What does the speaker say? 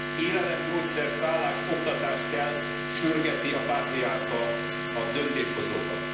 Élelem, gyógyszer, szállás, oktatás kell, sürgeti a pátriárka a döntéshozókat.